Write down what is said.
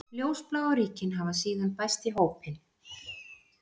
Ljósbláu ríkin hafa síðan bæst í hópinn.